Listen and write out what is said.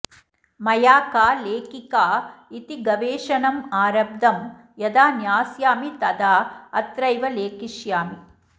मया का लेखिका इति गवेषणम् आरब्धं यदा ज्ञास्यामि तदा अत्रैव लेखिष्यामि